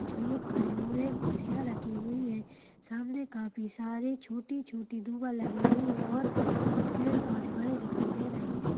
कुछ लोग खड़े हुए कुर्सियाँ रखी हुई हैँ सामने काफी सारे छोटी-छोटी दूबा लगी हुई है और कुछ पेड़ पौधे बड़े दिख रहें हैं।